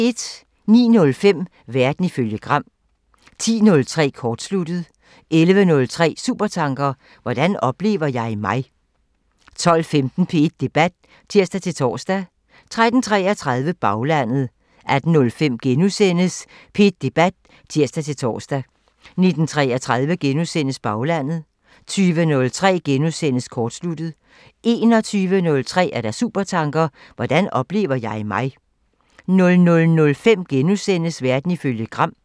09:05: Verden ifølge Gram (tir) 10:03: Kortsluttet (tir) 11:03: Supertanker: Hvordan oplever jeg mig? 12:15: P1 Debat (tir-tor) 13:33: Baglandet (tir) 18:05: P1 Debat *(tir-tor) 19:33: Baglandet *(tir) 20:03: Kortsluttet *(tir) 21:03: Supertanker: Hvordan oplever jeg mig? 00:05: Verden ifølge Gram *(tir)